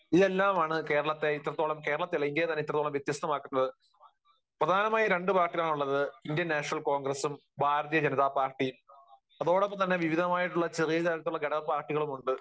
ഇതെല്ലാമാണ് കേരളത്തെ ഇത്രത്തോളം കേരളത്തെ മാത്രമല്ല, ഇന്ത്യയെ തന്നെ ഇത്രത്തോളം വ്യത്യസ്തമാക്കുന്നത്. പ്രധാനമായും രണ്ടു പാർട്ടികൾ ആണുള്ളത്. ഇന്ത്യൻ നാഷണൽ കോൺഗ്രസ്സും ഭാരതീയ ജനതാ പാർട്ടി. അതോടൊപ്പം തന്നെ വിവിധമായിട്ടുള്ള ചെറിയ തരത്തിലുള്ള ഘടക പാർട്ടികളും ഉണ്ട്.